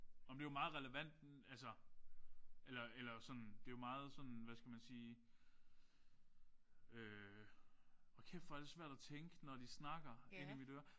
Nåh men det er jo meget relevant altså eller eller sådan det er jo meget sådan hvad skal man sige øh hold kæft hvor er det svært at tænke når de snakker ind i mit øre